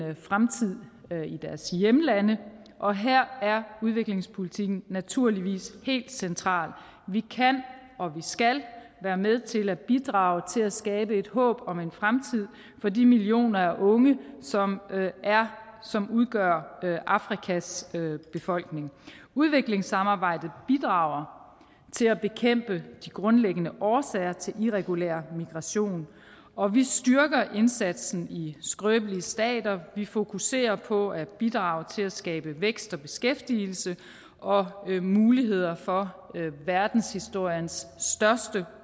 fremtid i deres hjemlande og her er udviklingspolitikken naturligvis helt central vi kan og vi skal være med til at bidrage til at skabe et håb om en fremtid for de millioner af unge som som udgør afrikas befolkning udviklingssamarbejdet bidrager til at bekæmpe de grundlæggende årsager til irregulær migration og vi styrker indsatsen i skrøbelige stater vi fokuserer på at bidrage til at skabe vækst og beskæftigelse og muligheder for verdenshistoriens største